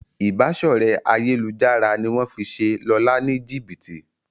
Ìbáṣọ̀rẹ́ ayélujára ní wón fí ṣe Lọla ní jibiti.